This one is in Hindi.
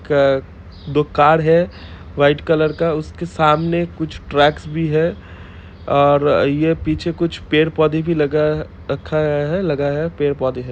एक दो कार है व्हाइट कलर का उस के सामने कुछ ट्रक्स भी है और ये पीछे कुछ पेड़-पौधे भी लगाया रखा गया है लगाया पेड़-पौधे है।